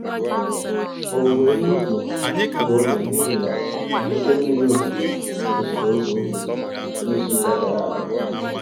Owuwe ihe ubi gburu oge n'ihi na oke mmiri ozuzo mechiri ụzọ ubi na izuka gara aga.